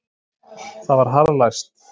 Það var harðlæst.